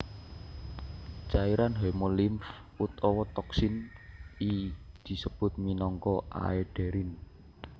Cairan hemolimf utawa toksin ii disebut minangka aederin